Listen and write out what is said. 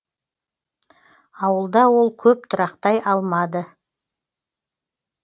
ауылда ол көп тұрақтай алмады